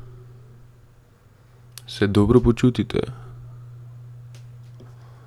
Se dobro počutite?